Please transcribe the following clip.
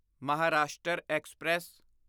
Maharashtra express